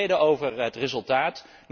Ik ben tevreden over het resultaat.